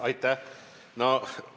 Aitäh!